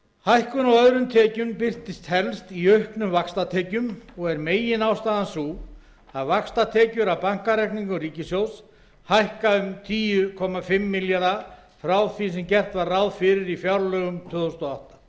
hækkun á öðrum tekjum birtist helst í auknum vaxtatekjum og er meginástæðan sú að vaxtatekjur af bankareikningum ríkissjóðs hækka um tíu komma fimm milljarða króna frá því sem gert er ráð fyrir í fjárlögum tvö þúsund og